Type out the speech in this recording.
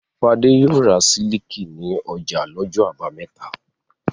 Fadé yóò ra sílíkì ní ọjà lọ́jọ́ àbámẹ́ta.